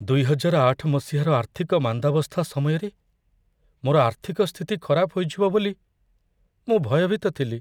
ଦୁଇହଜାରଆଠ ମସିହାର ଆର୍ଥିକ ମାନ୍ଦାବସ୍ଥା ସମୟରେ ମୋର ଆର୍ଥିକ ସ୍ଥିତି ଖରାପ ହୋଇଯିବ ବୋଲି ମୁଁ ଭୟଭୀତ ଥିଲି।